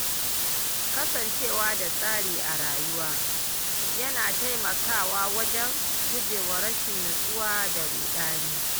Kasancewa da tsari a rayuwa, yana taimakawa wajen gujewa rashin natsuwa da ruɗani.